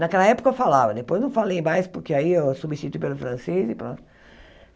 Naquela época eu falava, depois não falei mais porque aí eu substituí pelo francês e pronto.